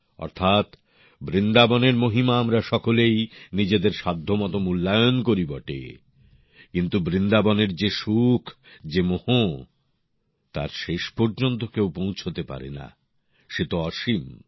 অর্থাৎ বৃন্দাবনের মহিমা আমরা সকলেই নিজেদের সাধ্যমত মূল্যায়ন করি বটে কিন্তু বৃন্দাবনের যে সুখ যে মোহ তার শেষ পর্যন্ত কেউ পৌঁছতে পারেনা সে তো অসীম